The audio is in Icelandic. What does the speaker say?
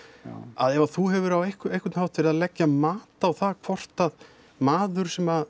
að ef þú hefur á einhvern hátt verið að leggja mat á það hvort að maður sem